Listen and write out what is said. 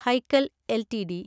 Hikal LTD